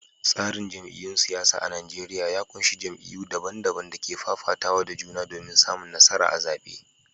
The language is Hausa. Tsarin jam’iyyun siyasa a Najeriya ya ƙunshi jam’iyyu daban-daban da ke fafatawa da juna domin samun nasara a zaɓe.